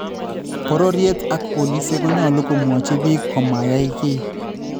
Bororyet ak boolisyek konyolu komwochi biik komo ya keey